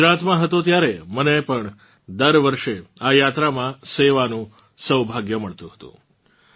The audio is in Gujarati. હું ગુજરાતમાં હતો ત્યારે મને પણ દર વર્ષે આ યાત્રામાં સેવાનું સૌભાગ્ય મળતું હતું